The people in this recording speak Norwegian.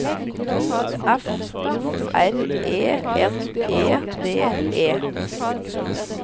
F O R E N E D E